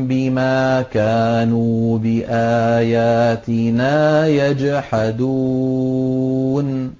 بِمَا كَانُوا بِآيَاتِنَا يَجْحَدُونَ